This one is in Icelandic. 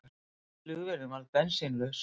Flugvélin varð bensínlaus